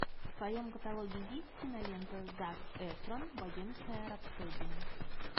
в твоем каталоге есть кинолента зак эфрон богемская рапсодия